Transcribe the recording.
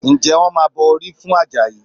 Ǹjẹ́ wọ́n máa bọ orí fún Àjàyí?